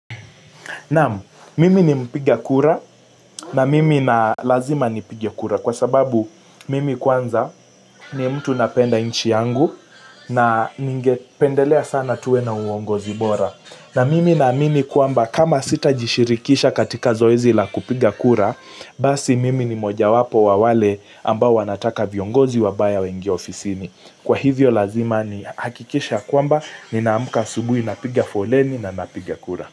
Naam mimi ni mpiga kura na mimi na lazima nipige kura kwa sababu mimi kwanza ni mtu napenda nchi yangu na ningependelea sana tuwe na uongozi bora na mimi naamini kwamba kama sitajishirikisha katika zoezi la kupiga kura basi mimi ni mojawapo wa wale ambao wanataka viongozi wabaya wengie ofisini Kwa hivyo lazima nihakikishe ya kwamba nina amka asubuhi napiga foleni na napiga kura.